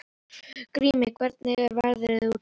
Grímey, hvernig er veðrið úti?